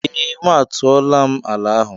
Ee m a tuola m ala ahụ.